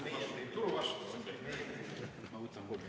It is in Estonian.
Ma võtan kolm minutit lisaaega.